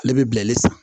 Ale bɛ bilali san